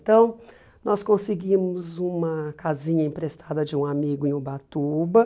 Então, nós conseguimos uma casinha emprestada de um amigo em Ubatuba.